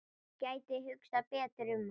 Gæti hugsað betur um hann.